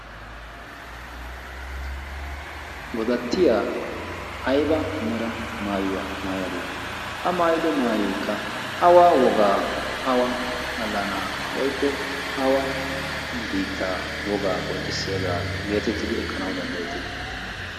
godattiya ayba mera maayuwaa maayadee? a maayido maayokka awa wogaa awa allanaa woykko awa biitta wogaa qonccissiyaagaa geetettidi ekkanawu danddayettii?